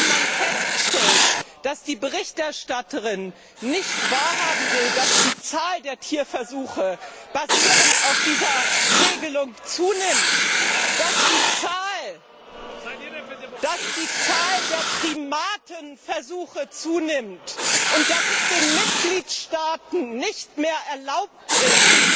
Wenn man feststellt, dass die Berichterstatterin nicht wahrhaben will, dass die Zahl der Tierversuche basierend auf dieser Regelung zunimmt, dass die Zahl der Primatenversuche zunimmt, und dass es den Mitgliedstaaten nicht mehr erlaubt ist,